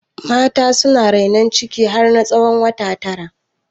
Mata suna rainon ciki har na tsawon wata tara